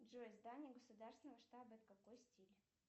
джой здание государственного штаба это какой стиль